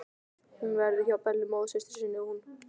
Hún verður hjá Bellu móðursystur sinni, hún.